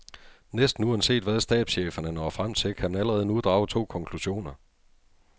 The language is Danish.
Næsten uanset hvad stabscheferne når frem til, kan man allerede nu drage to konklusioner.